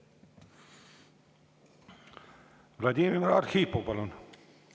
Vladimir Arhipov, palun!